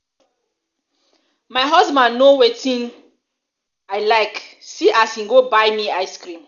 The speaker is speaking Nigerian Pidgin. my husband know wetin know wetin i like see as he go buy me ice cream.